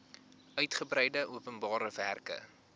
uigebreide openbare werke